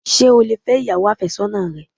Sé o lè fẹ́ ìyàwó àfésọ́nà rẹ?